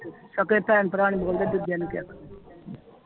ਸਕੇ ਭੈਣ ਭਰਾ ਨੀ ਬੋਲਦੇ ਦੂਜੇ ਨੂੰ ਕੀ ਆਖਣਾ